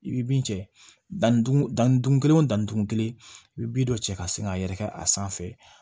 I bɛ bin cɛ danni da ni dun kelen o dan dugun kelen i bɛ bin dɔ cɛ ka sin k'a yɛrɛkɛ a sanfɛ